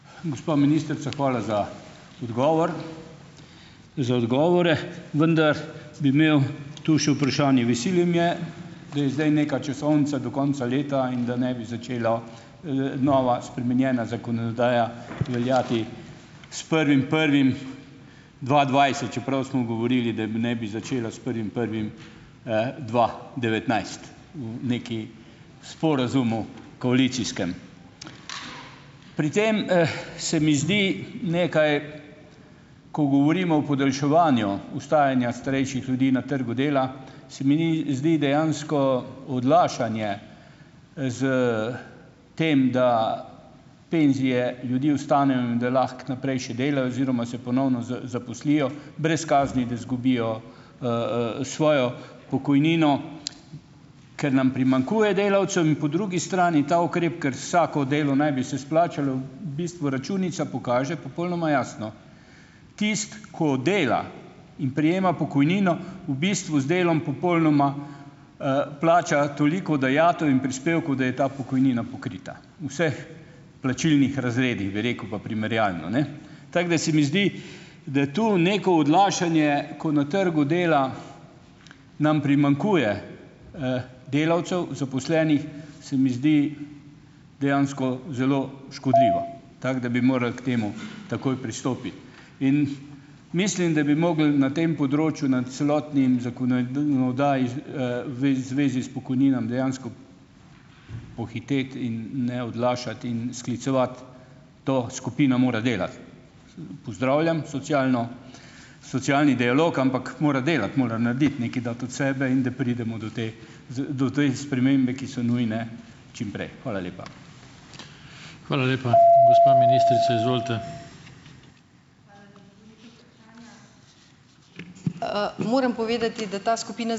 Gospa ministrica, hvala za odgovor, za odgovore. Vendar bi imel tu še vprašanje. Veseli me, da je zdaj neka časovnica do konca leta in da ne bi začelo, nova, spremenjena zakonodaja veljati s prvim prvim dva dvajset, čeprav smo govorili, da naj bi začela s prvim prvim, dva devetnajst, v nekem sporazumu koalicijskem. Pri tem, se mi zdi nekaj, ko govorimo o podaljševanju ostajanja starejših ljudi na trgu dela, se mi ni zdi dejansko odlašanje, s tem, da penzije ljudi ostanejo in da lahko naprej še delajo oziroma se ponovno zaposlijo, brez kazni, da izgubijo, svojo pokojnino, ker nam primanjkuje delavcev in po drugi strani, ta ukrep, kar vsako delo naj bi se izplačalo, v bistvu računica pokaže popolnoma jasno. Tisti, ko dela in prejema pokojnino, v bistvu z delom popolnoma, plača toliko dajatev in prispevkov, da je ta pokojnina pokrita. Vseh plačilnih razredih, bi rekel, pa primerjalno, ne. Tako, da se mi zdi, da tu neko odlašanje, ko na trgu dela nam primanjkuje, delavcev, zaposlenih, se mi zdi, dejansko zelo škodljivo. Tako, da bi morali k temu takoj pristopiti. In, mislim, da bi mogli na tem področju na celotni zvezi s pokojninami dejansko pohiteti in ne odlašati in sklicevati to, skupina more delati. Pozdravljam socialno, socialni dialog, ampak mora delati, mora narediti, nekaj dati od sebe in da pridemo do te, te spremembe, ki so nujne čimprej. Hvala lepa. Hvala lepa. Gospa ministrica, izvolite . moram povedati, da ta skupina ...